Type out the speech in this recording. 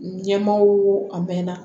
Ɲɛmaaw a mɛnna